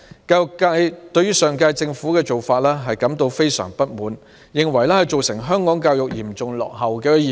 教育界對上屆政府的做法感到非常不滿，認為這做法導致香港教育嚴重落後。